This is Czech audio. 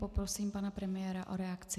Poprosím pana premiéra o reakci.